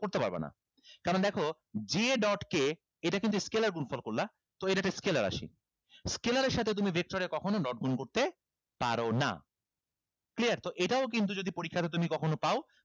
করতে পারবা না কারন দেখো j dot k এটা কিন্তু scalar এ গুণফল করলা তো এটা একটা scalar রাশি scalar এর সাথে তুমি vector এর কখনো dot গুন করতে পারো না clear তো এটাও যদি কিন্তু পরিক্ষাতে তুমি কখনো পাও